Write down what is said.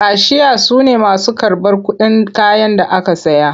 Kashiya su ne masu karɓar kuɗin kayan da aka saya.